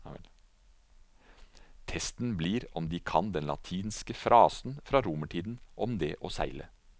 Testen blir om de kan den latinske frasen fra romertiden om det å seile.